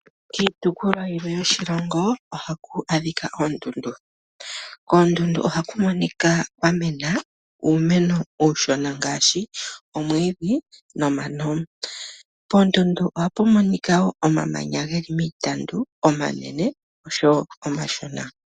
Kiitopolwa yimwe yoshilongo ohaku adhika oondundu. Oondundu ohaku kala kwa mena omwiidhi nomano, mbyoka hayi kala tayi monika iishona uuna omuntu eli kokule nondundu. Kudho ohaku kala woo iipambu yomamanya omanene nomashona.